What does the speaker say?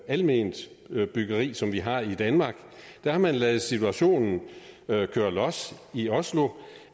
alment byggeri som vi har i danmark der har man ladet situationen køre los i oslo